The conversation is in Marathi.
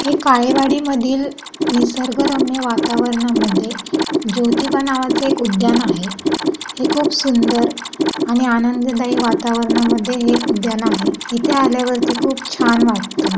हे काळेवाडी मधील निसर्गरम्य वातावरणामध्ये ज्योतिबा नावाच एक उद्यान आहे हे खूप सुंदर आणि आनंददायी वातावरणमध्ये हे उद्यान आहे. इथे आल्यावरती खूप छान वाटत.